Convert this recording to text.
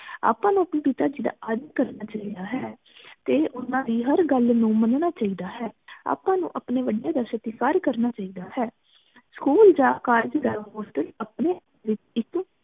ਆਪਾਂ ਨੂੰ ਅਪਣੇ ਪਿਤਾ ਜੀ ਦਾ ਆਦਰ ਕਰਨਾ ਚਾਹਿਦਾ ਹੈ ਅਤੇ ਓਹਨਾ ਦੀ ਹਰ ਗਲ ਨੂੰ ਮਨਣਾ ਚਾਹਿਦਾ ਹੈ ਆਪਾਂ ਨੂੰ ਆਪਣੇ ਵੱਡੀਆਂ ਦਾ ਸਤੀਕਾਰ ਕਰਨਾ ਚਾਹੀਦਾ ਹੈ school ਜਾ college ਜਾ hostel ਅਪਨੇ